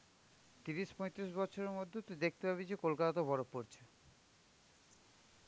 ত্রিশ পঁয়ত্রিশ বছরের মধ্যে দেখতে পাবি যে কলকাতাতেও বরফ পড়ছে.